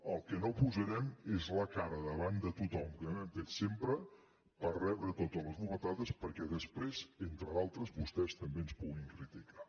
el que no posarem és la cara davant de tothom com hem fet sempre per rebre totes les bufetades perquè després entre d’altres vostès també ens puguin criticar